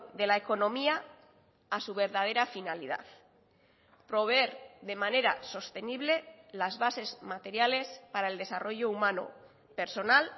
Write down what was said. de la economía a su verdadera finalidad proveer de manera sostenible las bases materiales para el desarrollo humano personal